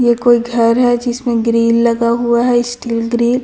ये कोई घर है जिसमें ग्रील लगा हुआ हैं स्टील ग्रील --